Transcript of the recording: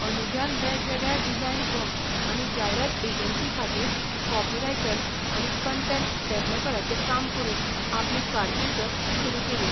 अनुजान वेगवेगळ्यो design firm आनी जायरात एजन्सींखातीर कॉपीरायटर आनी कण्टेंट डॅव्हलपराचें काम करून आपली कारकीर्द सुरू केली.